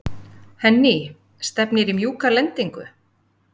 Henný, stefnir í mjúka lendingu?